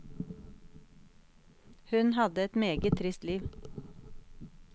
Hun hadde et meget trist liv.